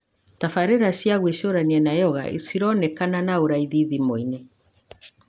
Tbarĩra cia gwĩcurania na yoga cironekana na ũraithi thimũ-inĩ,